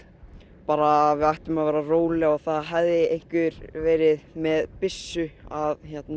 bara að við ættum að vera róleg og að það hefði einhver verið með byssu að